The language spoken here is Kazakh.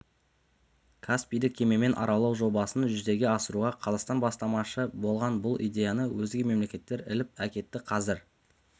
каспийді кемемен аралау жобасын жүзеге асыруға қазақстан бастамашы болған бұл идеяны өзге мемлекеттер іліп әкетті қазір